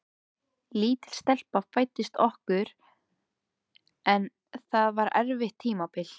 Lítil stelpa fæddist okkur en það var erfitt tímabil.